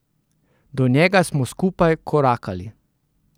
Do njega smo skupaj korakali.